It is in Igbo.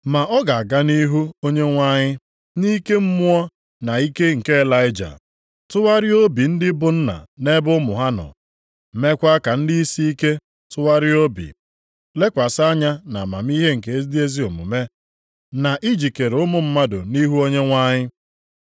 Ma ọ ga-aga nʼihu Onyenwe anyị nʼike mmụọ na ike nke Ịlaịja, tụgharịa obi ndị bụ nna nʼebe ụmụ ha nọ. Meekwa ka ndị isiike tụgharịa obi, lekwasị anya nʼamamihe nke ndị ezi omume, na ijikere ụmụ mmadụ nʼihi Onyenwe anyị.”